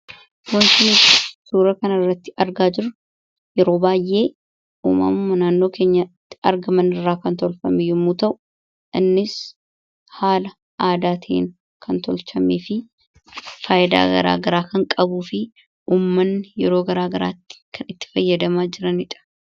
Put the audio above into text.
Wanti nuti suuraa kanarratti argaa jirru yeroo baay'ee uumamuma naannoo kèenyatti argaman irraa kan tolfamu yommuu ta'u, innis haala aadaatiin kan tolchamee fi faayidaa gara garaa kan qabuu fi uummanni yeroo gara garaatti kan itti fayyadamaa jiranidha.